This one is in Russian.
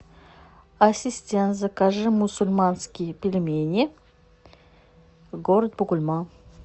ассистент закажи мусульманские пельмени город бугульма